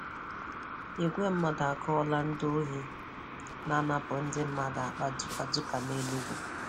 Igwe mmadụ akụọla ndị ohi na-anapụ ndị mmadụ akpa dukaduka n' Enugwu